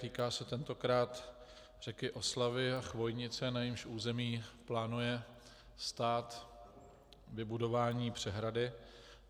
Týká se tentokrát řeky Oslavy a Chvojnice, na jejímž území plánuje stát vybudování přehrady.